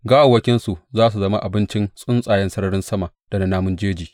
Gawawwakinsu za su zama abincin tsuntsayen sararin sama da na namun jeji.